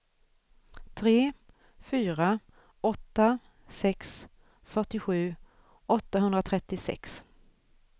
tre fyra åtta sex fyrtiosju åttahundratrettiosex